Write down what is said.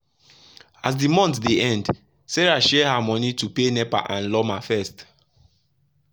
as the month dey end sarah share her money to pay nepa and lawma first.